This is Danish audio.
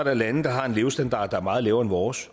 er lande der har en levestandard der er meget lavere vores